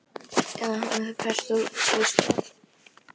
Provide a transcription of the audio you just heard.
Beinmergurinn leysir úr læðingi hundruð miljóna eðlilegra blóðfruma dag hvern.